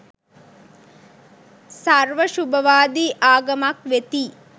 සර්ව ශුභවාදී ආගමක් වෙතියි